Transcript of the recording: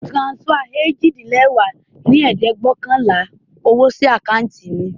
O tiransifá ojì-din-lẹwá dín ní ẹ̀ẹ́dẹ́gbẹ́ọ̀kànlá owo sí acanti mi